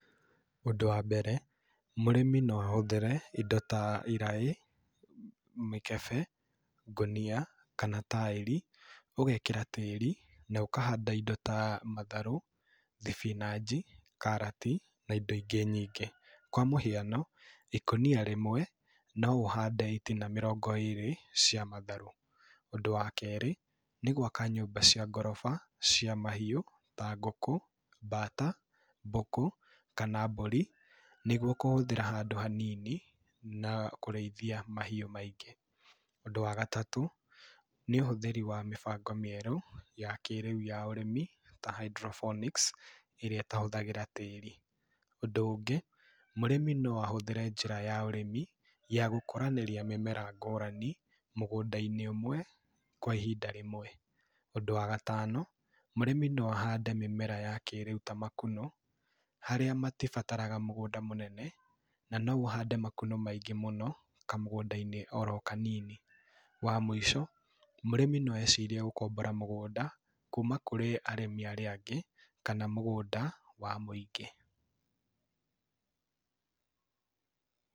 Ũndũ wa mbere, mũrĩmi no ahũthĩre indo tha iraĩ, mĩkebe, ngũnia, kana taĩri. Ũgekĩra tĩĩri, na ũkahanda indo ta matharũ, thibinanji, karati, na indo ingĩ nyingĩ. Kwa mũhiano, ikũnia rĩmwe, no ũhande itina mĩrongo ĩrĩ cia matharũ. Ũndũ wa kerĩ, nĩ gwaka nyũmba cia ngoroba, cia mahiũ, ta ngũkũ, mbata, mbũkũ kana mbũri, nĩguo kũhũthĩra handũ hanini na kũrĩithia mahiũ maingĩ. Ũndũ wa gatatũ, nĩ ũhũthĩri wa mĩbango mĩerũ, ya kĩrĩu ya ũrĩmi, ta hydroponics, ĩrĩa ĩtahũthagĩra tĩĩri. Ũndũ ũngĩ, mũrĩmi no ahũthĩre njĩra ya ũrĩmi, ya gũkũranĩria mĩmera ngũrani mũgũnda-inĩ ũmwe, kwa ihinda rĩmwe. Ũndũ wa gatano, mũrĩmi no ahande mĩmera ya kĩrĩũ ta makunũ. Harĩa matibataraga mũgũnda mũnene, na no ũhande makunũ maingĩ mũno, kamũgũda-inĩ oro kanini. Wa mũico, mũrĩmi no ecirie gũkombora mũgũnda, kuma kũrĩ arĩmi arĩa angĩ, kana mũgũnda wa mũingĩ.